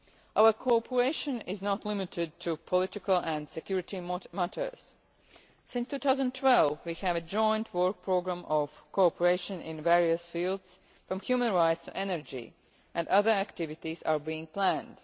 Our co operation is not limited to political and security matters. Since 2012 we have a joint work program of co operation in various fields, from human rights to energy, and other activities are being planned.